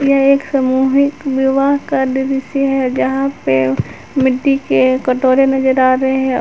यह एक सामूहिक विवाह का दृश्य है जहां पे मिट्टी के कटोरे नजर आ रहे हैं।